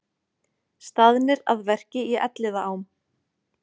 Staðnir að verki í Elliðaám